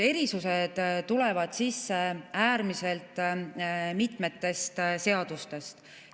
Erisused tulevad sisse äärmiselt mitmest seadusest.